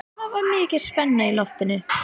Það var mikil spenna í loftinu.